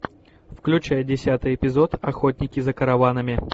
включай десятый эпизод охотники за караванами